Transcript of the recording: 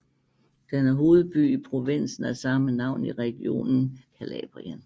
Den er hovedby i provinsen af samme navn i regionen Calabrien